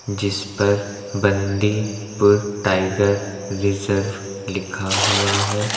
जिस पर Bandipur tiger reserve लिखा हुआ है।